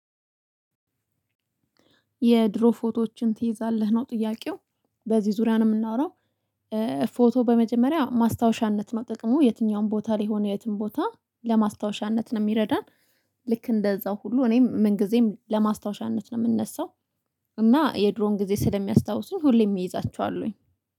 የድሮ ፎቶዎቹን ትይዛለህ? ነው ጥያቄው በዚህ ዙሪያ ነው የምናወራው ፎቶ በመጀመሪያ ማስታወሻነት ጥቅሙ የትኛውም ቦታ ላይ ሆነ የትም ቦታ ለማስታወሻነት ነው የሚረዳን። ልክ እንደዛው ሁሉ እኔም ምን ጊዜም ለማስታወሻነት ነው የምነሳው እና የድሮን ጊዜ ስለሚያስታውሱኝ ሁሌም ይዛችኋለሁኝ።